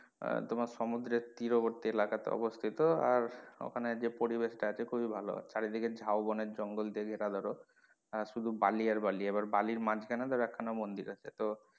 আহ তোমার সমুদ্রের তীরবর্তি এলাকা তে অবস্থিত আর ওখানের যে পরিবেষ টা আছে খুবই ভালো চারিদিকে ঝাউবনের জঙ্গল টা ধরো আহ শুধু বালি আর বালি আর বালির মাঝখানে এক খানা ধরো মন্দির আছে তো,